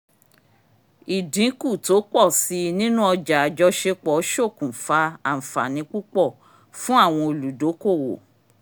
ìdínkù tó pọ̀ síi nínú ọjà àjọṣepọ̀ ṣòkùnfa àǹfààní púpọ̀ fún àwọn olùdókòwò